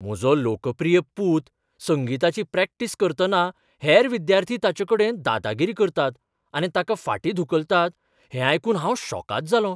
म्हजो लोकप्रिय पूत संगीताची प्रॅक्टीस करतना हेर विद्यार्थी ताचेकडेन दादागिरी करतात आनी ताका फाटीं धुकलतात हें आयकून हांव शॉकाद जालों.